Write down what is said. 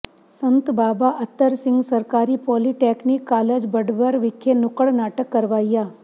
ਸੰਤ ਬਾਬਾ ਅਤਰ ਸਿੰਘ ਸਰਕਾਰੀ polytechnic college Badbar ਵਿਖੇ ਨੁੱਕੜ ਨਾਟਕ ਕਰਵਾਇਆ